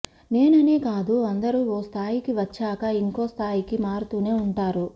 నేననే కాదు అందరు ఓ స్థాయికి వచ్చాక ఇంకో స్థాయికి మారుతూనే ఉంటారు